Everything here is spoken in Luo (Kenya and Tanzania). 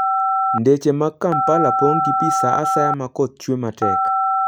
Ndeche mag Kampala pong' gi pi sa asaya ma koth chwe matek.